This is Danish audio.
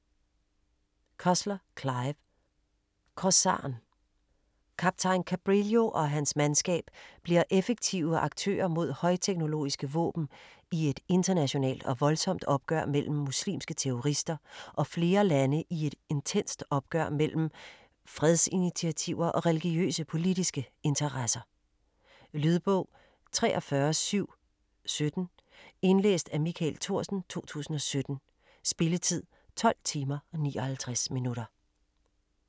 Cussler, Clive: Korsaren Kaptajn Cabrillo og hans mandskab bliver effektive aktører med højteknologiske våben i et internationalt og voldsomt opgør mellem muslimske terrorister og flere lande i et intenst opgør mellem fredsinitiativer og religiøse/politiske interesser. Lydbog 43717 Indlæst af Michael Thorsen, 2017. Spilletid: 12 timer, 59 minutter.